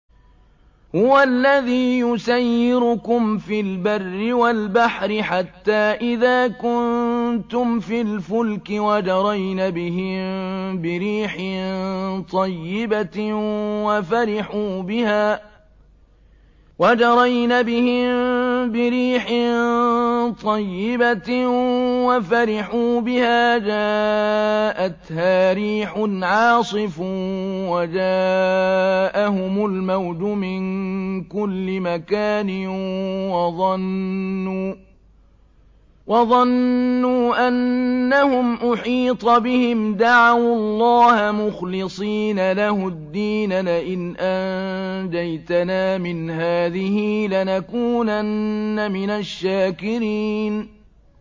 هُوَ الَّذِي يُسَيِّرُكُمْ فِي الْبَرِّ وَالْبَحْرِ ۖ حَتَّىٰ إِذَا كُنتُمْ فِي الْفُلْكِ وَجَرَيْنَ بِهِم بِرِيحٍ طَيِّبَةٍ وَفَرِحُوا بِهَا جَاءَتْهَا رِيحٌ عَاصِفٌ وَجَاءَهُمُ الْمَوْجُ مِن كُلِّ مَكَانٍ وَظَنُّوا أَنَّهُمْ أُحِيطَ بِهِمْ ۙ دَعَوُا اللَّهَ مُخْلِصِينَ لَهُ الدِّينَ لَئِنْ أَنجَيْتَنَا مِنْ هَٰذِهِ لَنَكُونَنَّ مِنَ الشَّاكِرِينَ